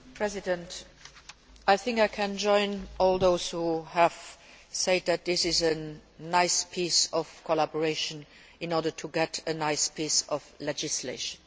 Mr President, I think that I can join all those who have said that this is a nice piece of collaboration in order to get a nice piece of legislation.